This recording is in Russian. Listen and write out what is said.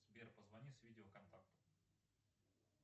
сбер позвони с видео контакту